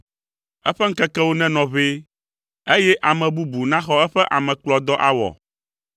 Eƒe ŋkekewo nenɔ ʋɛ eye ame bubu naxɔ eƒe amekplɔdɔ awɔ.